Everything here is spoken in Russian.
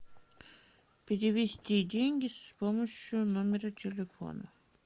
перевести деньги с помощью номера телефона